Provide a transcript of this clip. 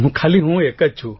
ખાલી હું એક જ છું